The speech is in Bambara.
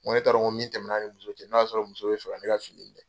N ko ne t'a dɔn nko min tɛmɛna ni muso cɛ n'o y'a sɔrɔ muso bi fɛ ka ne ka fini